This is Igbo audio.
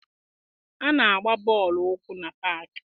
A na-agba bọọlụ ụkwụ na paakị.